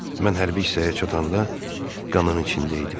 Mən hərbi hissəyə çatanda qanın içindəydim.